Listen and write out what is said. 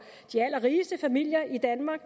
de allerrigeste familier i danmark